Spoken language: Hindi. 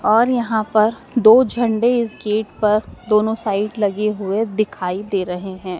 और यहां पर दो झंडा इस गेट पर दोनों साइड लगे हुए दिखाई दे रहे हैं।